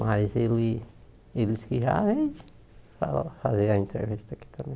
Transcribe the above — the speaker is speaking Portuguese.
Mas ele ele disse que já vende para fazer a entrega disso daqui também.